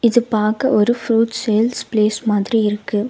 இது பாக்க ஒரு ஃப்ரூட் சேல்ஸ் ப்ளேஸ் மாதிரி இருக்கு.